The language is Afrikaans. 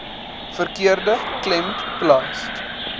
verkeerde klem plaas